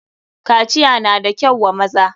kaciya na da kyau wa maza.